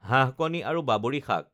হাঁহ কণী আৰু বাবৰি শাক